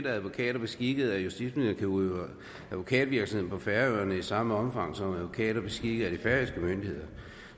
at advokater beskikket af justitsministeren kan udøve advokatvirksomhed på færøerne i samme omfang som advokater beskikket af de færøske myndigheder